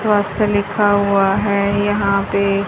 लिखा हुआ है यहां पे--